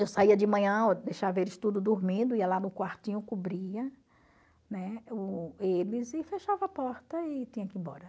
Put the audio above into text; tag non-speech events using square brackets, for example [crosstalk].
Eu saía de manhã, [unintelligible] deixava eles tudo dormindo, ia lá no quartinho, cobria, né, o eles e fechava a porta e tinha que ir embora.